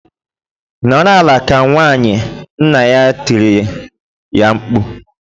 "Nọrọ ala ka nwaanyị!" Nna ya tirile ya mkpu.